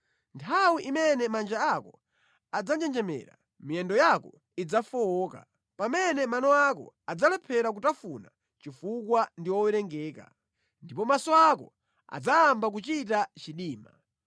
Nthawi imene manja ako adzanjenjemera, miyendo yako idzafowoka, pamene mano ako adzalephera kutafuna chifukwa ndi owerengeka, ndipo maso ako adzayamba kuchita chidima.